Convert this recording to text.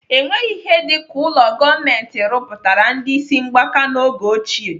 Enweghị ihe dịka ụlọ gọọmenti rụpụtara ndị ịsị mgbaka n'oge ochie.